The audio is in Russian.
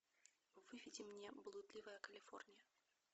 выведи мне блудливая калифорния